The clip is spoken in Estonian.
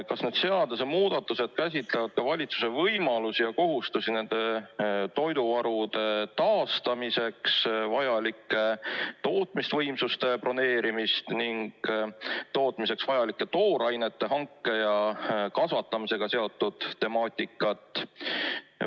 Kas need seadusemuudatused käsitletavad ka valitsuse võimalusi ja kohustusi nende toiduvarude taastamiseks vajalike tootmisvõimsuste broneerimisel ning tootmiseks vajalike toorainete hanke ja kasvatamisega seotud temaatikat?